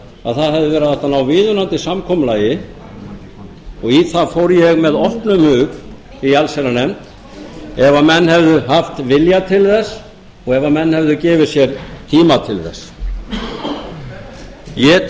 að það hefði verið hægt að ná viðunandi samkomulagi og í það fór ég með opnum hug í allsherjarnefnd ef menn hefðu haft vilja til þess og ef menn hefðu gefið sér tíma til þess ég